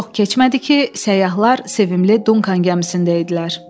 Çox keçmədi ki, səyyahlar sevimli Dunkan gəmisində idilər.